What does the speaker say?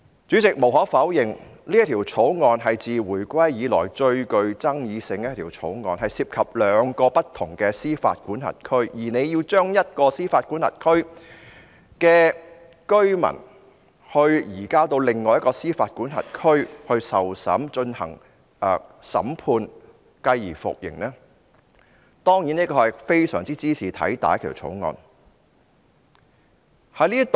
主席，無可否認，《條例草案》是自回歸以來最具爭議的一項條例草案，涉及兩個不同司法管轄區，而政府要將一個司法管轄區的居民移交至另一個司法管轄區進行審判，繼而服刑，這當然是茲事體大的一項條例草案。